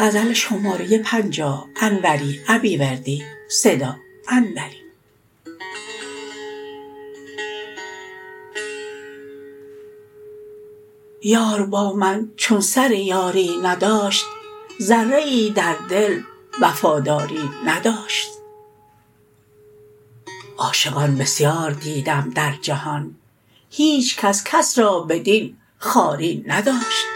یار با من چون سر یاری نداشت ذره ای در دل وفاداری نداشت عاشقان بسیار دیدم در جهان هیچ کس کس را بدین خواری نداشت